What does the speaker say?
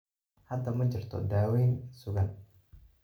Hadda ma jirto daaweyn sugan.